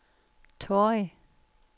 Torrig